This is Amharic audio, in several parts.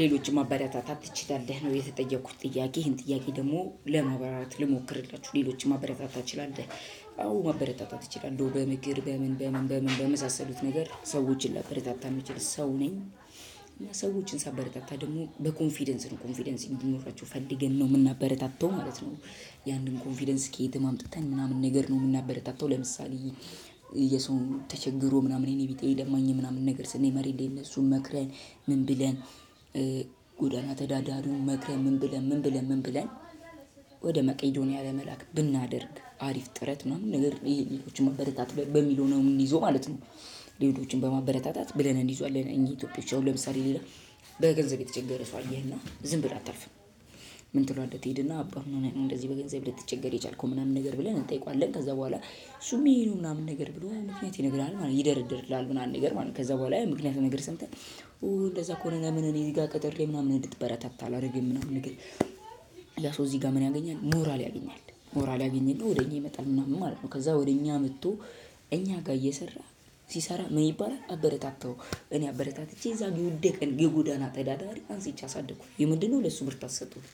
ሌሎችም ማበረታታት ትችላለህ ነው የተጠየኩት ጥያቄ ይህን ጥያቄ ደግሞ ለማብራራት ልሞክርላችሁ ሌሎችም ማበረታታት ትችላለህ? አዎ ማበረታታት ይችላል እንደው በምክር በምን በምን በምን በምን በመሳሰሉት ነገር ሰዎችን ላበረታታ የምችል ሰው ነኝ። ሰዎችን ሳበረታታ ደግሞ በኮንፊደንስ ነው ኮንፊደንስ እንዲኖራቸው ፈልገን ነው የምናበረታታው ማለት ነው። ያንን ኮንፊደንስ ከየትም አምጥተን ምናምን ነገር ነው የምናበረታታው ለምሳሌ። የሰውን ተቸግሮ ምናምን የኔ ቢጤ ለማኝ ምናምን ነገር ስናይ መሬት ላይ እነሱን መክረን ምን ብለን ጎዳና ተዳዳሪውን መክረን ምን ብለን ምን ብለን ምን ብለን ወደ መቄዶንያ ለመላክ ብናደርግ አሪፍ ጥረት ምናምን ነገር ሌሎችን ማበረታት በሚል ሆነው ምን ይዞ ማለት ነው። ድርጅቶችን በማበረታታት ብለን እንይዟለን እኛ ኢትዮጵያዎች አሁን ለምሳሌ ሌላ በገንዘብ የተቸገረ ሰው አየህና ዝም ብለህ አታልፍም። ምን ትሏለህ ትሄድና አባምኖነህ እንደዚህ በገንዘብ ልትቸገር የቻልከው ምናምን ነገር ብለን እንጠይቀዋለን ከዛ በኋላ። እሱም ይሄነው ምናምን ነገር ብሎ ምክንያት ይነግራል ማለት ይደረደርልሃል ምናምን ነገር ማለት ከዛ በኋላ ምክንያቱን ነገር ሰምተህ ኦ እንደዛ ከሆነ ለምን እኔ ጋር ቀጥሬ ምናምን እንድትበረታ ታላርግም ነው ነገር። ለሰው እዚህ ጋር ምን ያገኛል ሞራል ያገኛል ሞራል ያገኝና ወደ እኛ ይመጣል ምናምን ማለት ነው። ከዛ ወደ እኛ መጥቶ እኛ ጋር እየሰራ ሲሰራ ምንይባላል አበረታታው እኔ አበረታትቼ እዛው የወደቀን የጎዳና ተዳዳሪ አንስቼ አሳደግኩኝ ይህምንድነው ለሱ ብርታት ሰጠውት።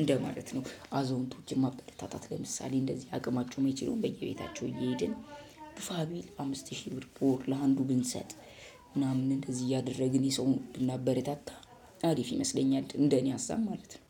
እንደ ማለት ነው። አዛውንቶችን ማበረታታት ለምሳሌ እንደዚህ አቅማቸውን የሚችሉ በየቤታቸው እየሄድን ፋቢል አምስት ሺህ ብር ወር ለአንዱ ብንሰጥ። ምናምን እዚህ እያደረግን የሰውን ብናበረታታ አሪፍ ይመስለኛል። እንደኔ ሀሳብ ማለት ነው።